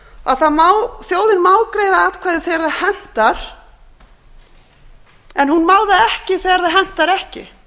að þjóðin má greiða atkvæði þegar það hentar en hún má það ekki þegar það hentar ekki þetta